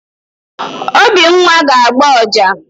Obinwa ga-agba ọjà.